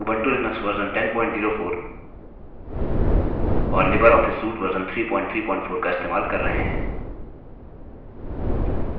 यहाँ हम Ubuntu Linux version 1004 और लिबर ऑफिस suite version 334 इस्तेमाल कर रहे हैं